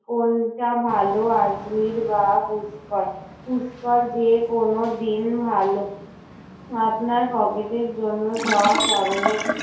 কোনটা ভালো? আজমীর বা পুষ্কর? পুষ্কর যে কোনো দিন ভালো। আপনার pocket এর জন্য সব ধরনের